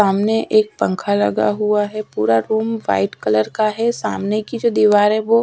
सामने एक पंखा लगा हुआ है पूरा रूम व्हाइट कलर का है सामने की जो दीवार है वो--